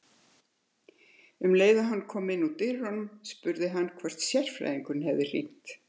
Um leið og hann kom inn úr dyrunum spurði hann hvort sérfræðingurinn hefði hringt.